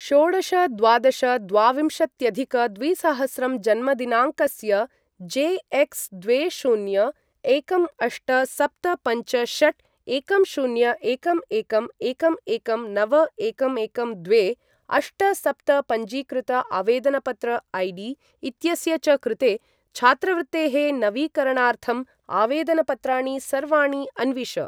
षोडश द्वादश द्वाविंशत्यधिक द्विसहस्रं जन्मदिनाङ्कस्य, जे एक्स द्वे शून्य एकं अष्ट सप्त पञ्च षट् एकं शून्य एकं एकं एकं एकं नव एकं एकं द्वे अष्ट सप्त पञ्जीकृत आवेदनपत्र ऐ.डी. इत्यस्य च कृते छात्रवृत्तेः नवीकरणार्थं आवेदनपत्राणि सर्वाणि अन्विष।